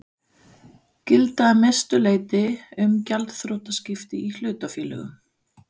gilda að mestu leyti um gjaldþrotaskipti í hlutafélögum.